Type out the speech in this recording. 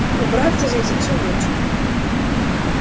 убираться здесь за всю ночь